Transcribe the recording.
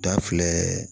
Da filɛ